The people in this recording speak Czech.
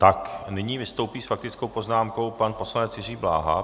Tak, nyní vystoupí s faktickou poznámkou pan poslanec Jiří Bláha.